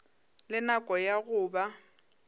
le nako ya go ba